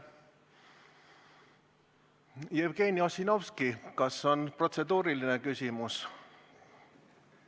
Jevgeni Ossinovski, kas on protseduuriline küsimus?